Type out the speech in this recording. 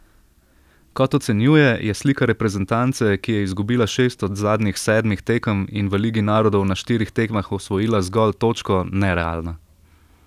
Kot ocenjuje, je slika reprezentance, ki je izgubila šest od zadnjih sedmih tekem in v ligi narodov na štirih tekmah osvojila zgolj točko, nerealna.